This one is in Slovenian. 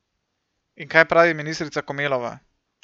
In kaj pravi ministrica Komelova?